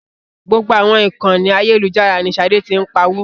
Gbogbo àwọn ìkànì ayélujára ní Ṣadé ti ń pawó.